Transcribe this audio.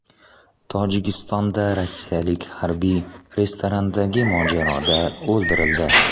Tojikistonda rossiyalik harbiy restorandagi mojaroda o‘ldirildi.